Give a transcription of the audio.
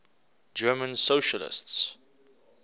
german socialists